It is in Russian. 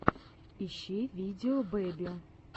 ищи видео бэби